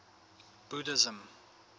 buddhism